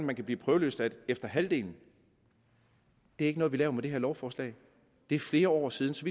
man kan blive prøveløsladt efter halvdelen det er ikke noget vi laver med det her lovforslag det er flere år siden så